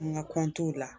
An ka la